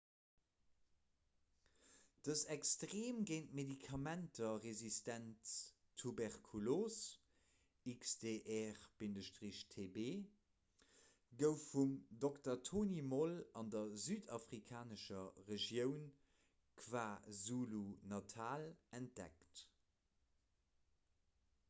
dës extreem géint medikamenter resistent tuberkulos xdr-tb gouf vum dr. tony moll an der südafrikanescher regioun kwazulu-natal entdeckt